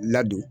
Ladon